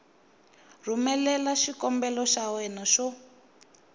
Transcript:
rhumelela xikombelo xa wena xo